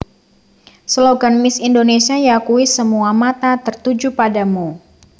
Slogan Miss Indonésia yakuwi Semua Mata Tertuju Padamu